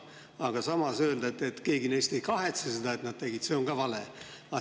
Aga samas öelda, et keegi neist ei kahetse seda, et nad tegid, see on ka vale.